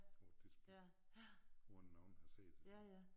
På et tidspunkt uden nogen har set det